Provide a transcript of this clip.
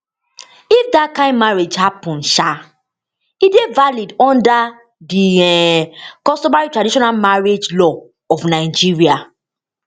if dat kain marriage happun um e dey invalid under di um customarytraditional marriage law of nigeria